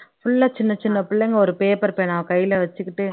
full அ சின்ன சின்ன பிள்ளைங்க ஒரு பேப்பர் பேனாவை கையில வச்சிக்கிட்டு